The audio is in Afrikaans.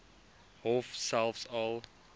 hof selfs al